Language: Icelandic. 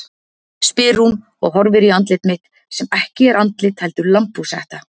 spyr hún og horfir í andlit mitt sem ekki er andlit heldur lambhúshetta.